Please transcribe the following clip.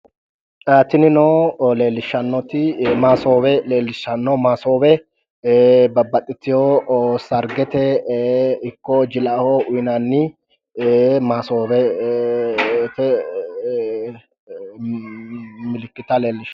Tinino leellishshannoti masoowe leellishshanno. masoowe babbaxitewo sargete ikko jilaho uuyinanni masoowete milikita leellishshanno.